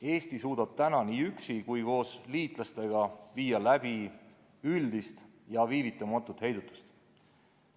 Eesti suudab nii üksi kui ka koos liitlastega viia läbi üldist ja viivitamatut heidutust.